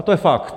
A to je fakt.